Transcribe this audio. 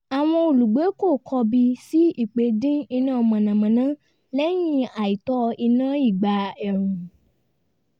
àwọn olùgbé kò kọbi sí ípè dín iná mànàmáná lẹ́yìn àìtó iná ìgbà ẹ̀rùn